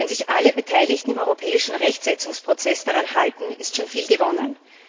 Wenn sich alle Beteiligten im europäischen Rechtsetzungsprozess daran halten, ist schon viel gewonnen.